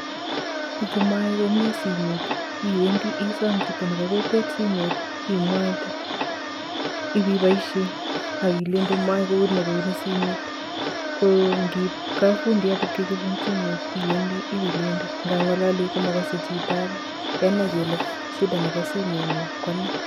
Ngo mayae komnye simet, iwendi isom chitoab kokwet simet imwaite, ipipoishe ak kilende mayae kouni ak kouni simet, ko ngiip kapfundiot ipkechopun simet iwendi iwilende kangalali komakasei chito ake kenai kele shida nebo simengung kone.